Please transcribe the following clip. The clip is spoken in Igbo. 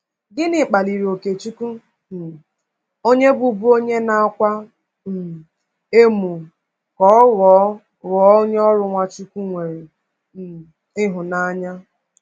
Gịnị kpaliri Okechukwu um onye bụbu onye na-akwa um emo ka ọ ghọọ ghọọ onye ọrụ Nwachukwu nwere um ịhụnanya?